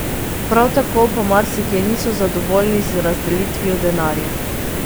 Prav tako pa marsikje niso zadovoljni z razdelitvijo denarja.